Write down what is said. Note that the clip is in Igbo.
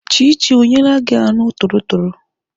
Chichi ọ nyeela gị anụ torotoro?